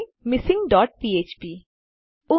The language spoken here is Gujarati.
મિસિંગ ડોટ ફ્ફ્પ મિસિંગ ડોટ પીએચપી